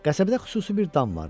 Qəsəbədə xüsusi bir dam vardı.